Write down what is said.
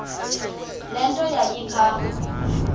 le nto yayipha